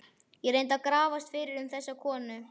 Ég reyndi að grafast fyrir um þessa konu.